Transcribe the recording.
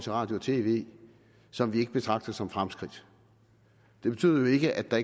radio og tv som vi ikke betragter som fremskridt det betyder jo ikke at der